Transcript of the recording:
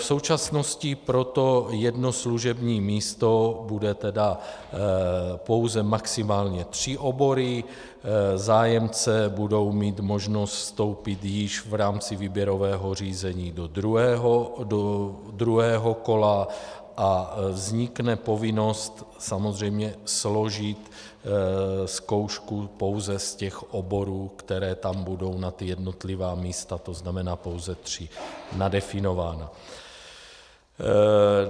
V současnosti pro to jedno služební místo budou tedy pouze maximálně tři obory, zájemci budou mít možnost vstoupit již v rámci výběrového řízení do druhého kola a vznikne povinnost samozřejmě složit zkoušku pouze z těch oborů, které tam budou na ta jednotlivá místa, to znamená pouze tři, nadefinovány.